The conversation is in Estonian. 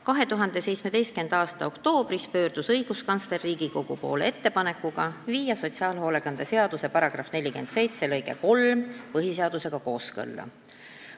2017. aasta oktoobris pöördus õiguskantsler Riigikogu poole ettepanekuga viia sotsiaalhoolekande seaduse § 47 lõige 3 põhiseadusega kooskõlla.